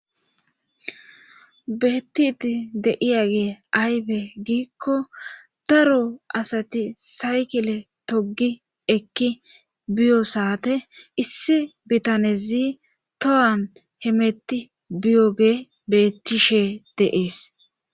Bettidi deiyagee aybe giikko daro asati saykile togi ekki biyo saate issi bitanezi tohan hemetti biyoge bettishe deees